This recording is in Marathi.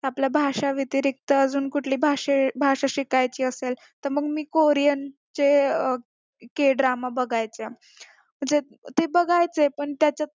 आपला भाषा व्यतिरिक्त अजून कुठली भाषे भाषा शिकायची असेल तर मग कोरियन चे k drama बघायचे ते बघायचे पण त्याच्यात